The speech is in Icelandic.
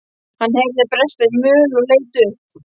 Hann heyrði bresta í möl og leit upp.